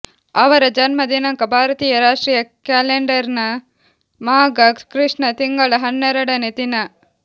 ಅವರ ಜನ್ಮ ದಿನಾಂಕ ಭಾರತೀಯ ರಾಷ್ಟ್ರೀಯ ಕ್ಯಾಲೆಂಡರ್ನ ಮಾಘ ಕೃಷ್ಣ ತಿಂಗಳ ಹನ್ನೆರಡನೇ ದಿನ